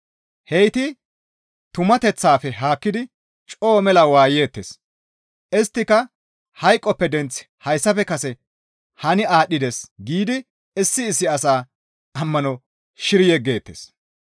Heyti tumateththafe haakkidi coo mela waayeettes; isttika, «Hayqoppe denththi hayssafe kase hani aadhdhides» giidi issi issi asaa ammano shiri yeggeettes.